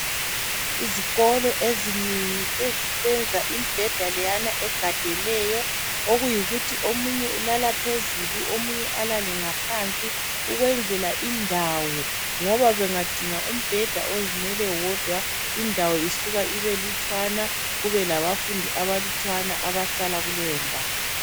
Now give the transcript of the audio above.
izikolo ezinengi sezisenza imbeda leyana egadeneyo okuyikuthi omunye ulala phezulu omunye alale ngaphansi ukwenzela indawo ngoba bengadinga umbheda ozimele wodwa indawo isuka ibe lutshwana kubelabafundi abalutshwana abahlala kuleyo ndawo